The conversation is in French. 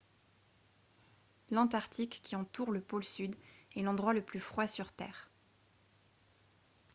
l'antarctique qui entoure le pôle sud est l'endroit le plus froid sur terre